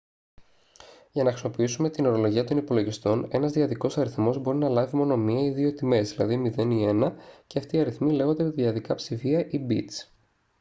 για να χρησιμοποιήσουμε την ορολογία των υπολογιστών ένας δυαδικός αριθμός μπορεί να λάβει μόνο μία ή δύο τιμές δηλαδή 0 ή 1 και αυτοί οι αριθμοί λέγονται δυαδικά ψηφία ή μπιτς